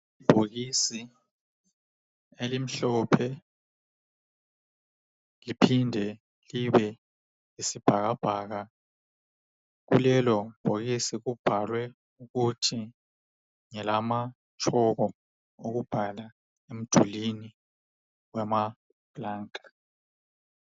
Ibhokisi elimhlophe liphinde libe yisibhakabhaka .Kulelo bhokisi kubhalwe ukuthi ngelamatshoko okubhala emdulini wamaplanka .